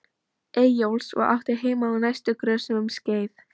Eyjólfs og átti heima á næstu grösum um skeið.